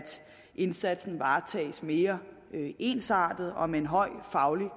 indsatsen varetages mere ensartet og med en høj faglig